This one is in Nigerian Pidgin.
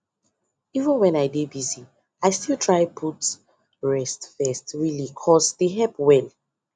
even when i dey busy i still try put rest first really cos dey help well